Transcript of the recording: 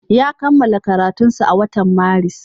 Ya kammala karatunsa a watan Maris.